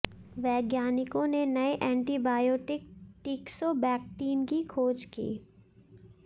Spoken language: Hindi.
वैज्ञानिकों ने नए एंटीबायोटिक टीक्सोबैक्टीन की खोज की